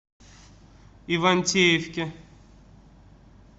ивантеевке